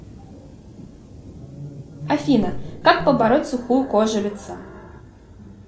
афина как побороть сухую кожу лица